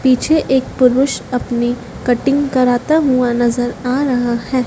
पीछे एक पुरुष अपनी कटिंग कराता हुआ नज़र आ रहा है।